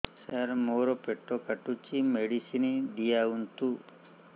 ସାର ମୋର ପେଟ କାଟୁଚି ମେଡିସିନ ଦିଆଉନ୍ତୁ